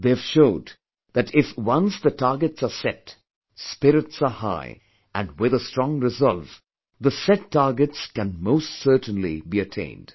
They have showed that if once the targets are set, spirits are high and with a strong resolve, the set targets can most certainly be attained